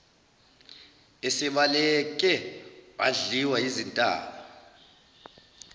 esebaleke wadliwa yizintaba